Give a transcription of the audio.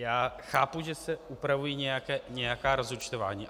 Já chápu, že se upravují nějaká rozúčtování.